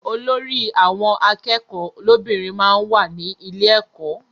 Olórí àwọn akẹ́kọ̀ọ́ lóbìnrin máa ń wà ní ilé ẹkọ.